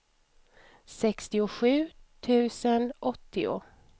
sextiosju tusen åttio